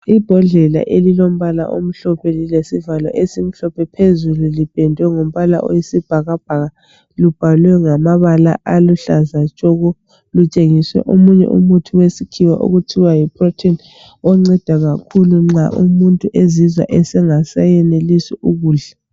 Imbodlela elilombala omhlophe lilesivalo esimhlophe phezulu lilombala wesibhakabhaka lubhalwe ngamabala aluhlaza tshoko lutshengise omunye umuthi wesikhiwa okuthiwa yiprotein ongceda kakhulu nxa umuntu ezizwa engasayenelisi ukudla